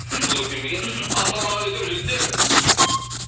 сол өркен бе екен мхм ассалаумағалейкум жігіттер